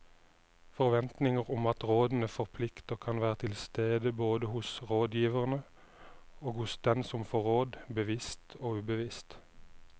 Forventninger om at rådene forplikter kan være til stede både hos rådgiverne og hos den som får råd, bevisst og ubevisst.